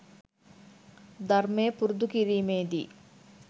ධර්මය පුරුදු කිරීමේදී